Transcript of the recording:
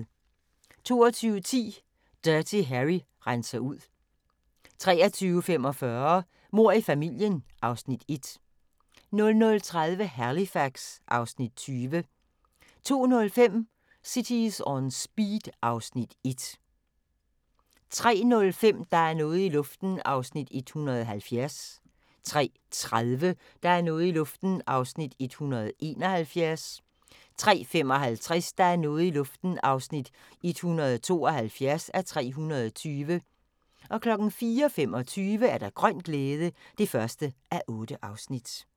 22:10: Dirty Harry renser ud 23:45: Mord i familien (Afs. 1) 00:30: Halifax (Afs. 20) 02:05: Cities On Speed (Afs. 1) 03:05: Der er noget i luften (170:320) 03:30: Der er noget i luften (171:320) 03:55: Der er noget i luften (172:320) 04:25: Grøn glæde (1:8)